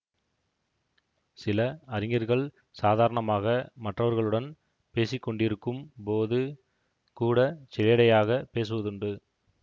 சில அறிஞர்கள் சாதாரணமாக மற்றவர்களுடன் பேசிக்கொண்டிருக்கும் போது கூட சிலேடையாகப் பேசுவதுண்டு